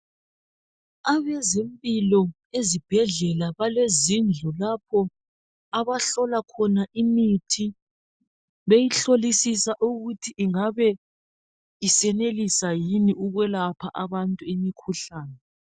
Abezempilo ezibhedlela balezindlu lapho abahlola khona imithi .Beyihlolisisa ukuthi ingabe isenelisa yini ukwelapha abantu imikhuhlane.